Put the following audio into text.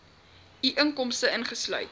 u inkomste ingesluit